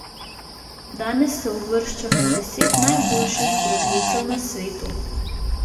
Danes se uvršča med deset najboljših zdravilcev na svetu.